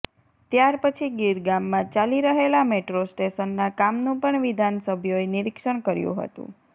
ત્યાર પછી ગિરગામમાં ચાલી રહેલા મેટ્રો સ્ટેશનના કામનું પણ વિધાનસભ્યોએ નિરીક્ષણ કર્યું હતું